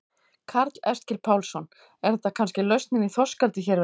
Karl Eskil Pálsson: Er þetta kannski lausnin í þorskeldi hér við land?